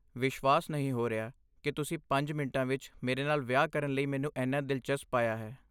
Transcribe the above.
ਵਿਸ਼ਵਾਸ ਨਹੀਂ ਹੋ ਰਿਹਾ ਕਿ ਤੁਸੀਂ ਪੰਜ ਮਿੰਟਾਂ ਵਿੱਚ ਮੇਰੇ ਨਾਲ ਵਿਆਹ ਕਰਨ ਲਈ ਮੈਨੂੰ ਇੰਨਾ ਦਿਲਚਸਪ ਪਾਇਆ ਹੈ